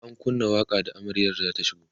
an kunna waƙa da amaryar zata shigo